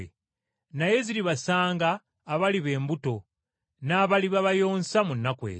Naye ziribasanga abaliba embuto n’abaliba bayonsa mu nnaku ezo.